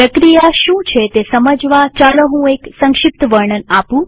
પ્રક્રિયા શું છે તે સમજવા ચાલો હું એક સંક્ષિપ્ત વર્ણન આપું